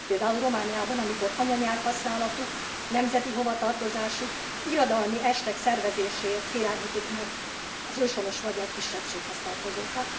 Például Romániában, amikor anyanyelvhasználatuk, nemzeti hovatartozásuk, irodalmi estek szervezéséért félemlítik meg az őshonos magyar kisebbséghez tartozókat.